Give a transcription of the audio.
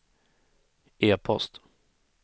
e-post